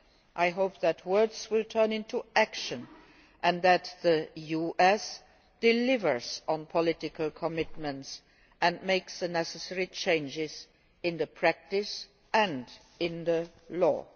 I hope that words will turn into action and that the US will deliver on political commitments and make the necessary changes in the practice and in the law.